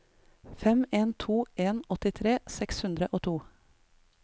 fem en to en åttitre seks hundre og to